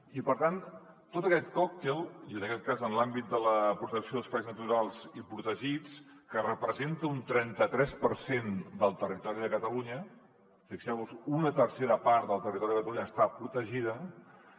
i per tant tot aquest còctel i en aquest cas en l’àmbit de la protecció d’espais naturals i protegits que representa un trenta tres per cent del territori de catalunya fixeu vos hi una tercera part del territori de catalunya està protegida